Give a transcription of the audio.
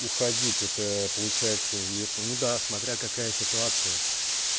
уходить это получается если ну да смотря какая ситуация